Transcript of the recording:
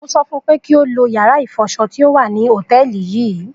mo so fun pe ki o lo yara ifoso ti o wa ni hoteeli yii